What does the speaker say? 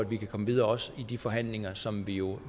vi kan komme videre også i de forhandlinger som vi jo